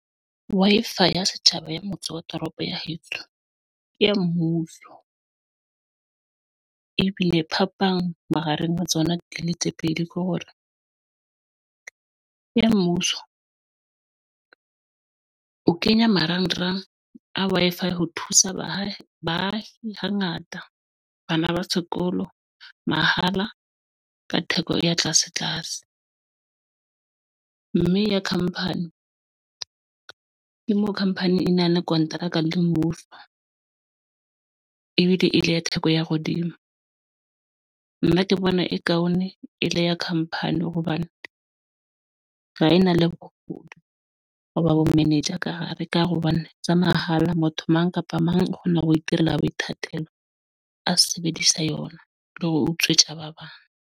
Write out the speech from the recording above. Wi-Fi ya Setjhaba ya motse wa toropo ya heso ke ya mmuso bile phapang mahareng wa tsona tlile tse pedi, ke hore ng ya mmuso ng o kenya marangrang a Wi-Fi ho thusa baahi ba hangata bana ba sekolo mahala ka theko ya tlase tlase. Mme ya company ke mo company enang kontraka le mmuso ebile e ile ya theko ya hodimo. Nna ke Bona Accoun e le ya company hantle hobane ka ena le bogodu hoba bo minaj a ka hara re ka hare hobane tsa mahala motho mang kapa mang o kgona ho itirela boithatelo, a sebedisa yona, le re utswe tja ba bang.